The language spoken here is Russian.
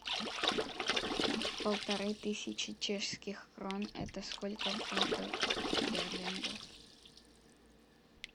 полторы тысячи чешских крон это сколько в фунтах стерлингах